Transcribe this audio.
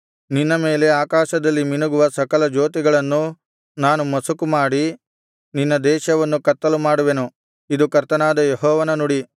ನಿನ್ನ ಮೇಲೆ ಆಕಾಶದಲ್ಲಿ ಮಿನುಗುವ ಸಕಲ ಜ್ಯೋತಿಗಳನ್ನೂ ನಾನು ಮಸುಕುಮಾಡಿ ನಿನ್ನ ದೇಶವನ್ನು ಕತ್ತಲು ಮಾಡುವೆನು ಇದು ಕರ್ತನಾದ ಯೆಹೋವನ ನುಡಿ